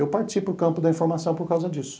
Eu parti para o campo da informação por causa disso.